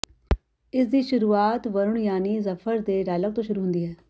ਇਸ ਦੀ ਸ਼ੁਰੂਆਤ ਵਰੁਣ ਯਾਨੀ ਜਫ਼ਰ ਦੇ ਡਾਈਲੌਗ ਤੋਂ ਹੁੰਦੀ ਹੈ